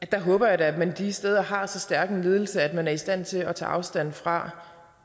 da håber at man de steder har så stærk en ledelse at man er i stand til at tage afstand fra